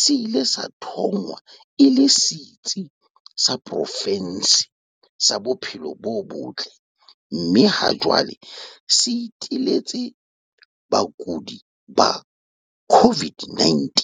se ile sa thongwa e le setsi sa pro fense sa bophelo bo botle mme ha jwale se iteletse bakudi ba COVID-19.